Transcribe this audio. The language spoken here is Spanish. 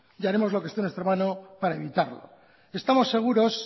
y haremos lo que esté en nuestra mano para evitarlo estamos seguros